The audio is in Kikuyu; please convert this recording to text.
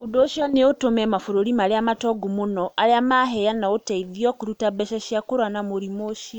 Ũndũ ũcio nĩ ũtũme mabũrũri marĩa matongu mũno aria maheana ũteithio kũruta mbeca cia kũrua na mũrimũ ucio.